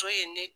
To ye ne